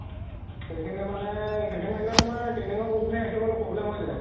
সেইখিনি মানে সেইখিনি থাকিলে মানে training ৰ কুকুৰ খিনি ৰাখিব অলপ problem হয় যাব